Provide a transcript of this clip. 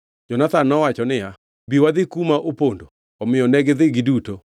Jonathan nowacho niya, “Bi wadhi kuma opondo.” Omiyo negidhi giduto.